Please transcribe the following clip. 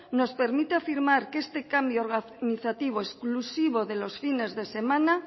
nos permite afirmar que este cambio organizativo exclusivo de los fines de semana